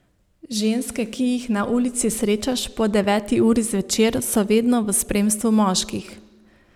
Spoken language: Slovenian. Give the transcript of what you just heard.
Ženske, ki jih na ulici srečaš po deveti uri zvečer, so vedno v spremstvu moških.